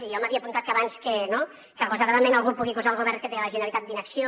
jo m’havia apuntat que abans que agosaradament algú pugui acusar el govern que té la generalitat d’inacció